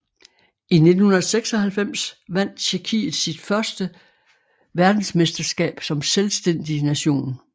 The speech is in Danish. I 1996 vandt Tjekkiet sit føste verdensmesterskab som selvstændig nation